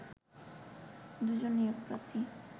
দুজন নিয়োগ প্রার্থী